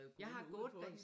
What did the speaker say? Jeg har gået der